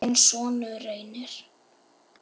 þinn sonur, Reynir.